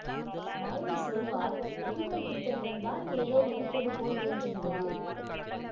மௌனி சொல்வார் புதுமைப் பித்தனிடம் தான் ஏதோ இருப்பது போல் தோன்றுகிறது